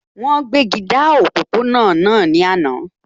Wọ́n gbéji dá òpópó-ọ̀nà náà ní àná